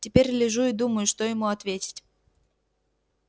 теперь лежу и думаю что ему ответить